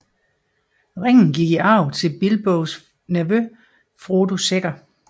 Ringen gik i arv til Bilbos nevø Frodo Sækker